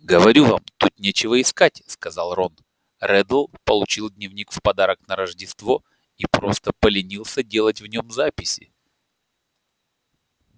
говорю вам тут нечего искать сказал рон реддл получил дневник в подарок на рождество и просто поленился делать в нём записи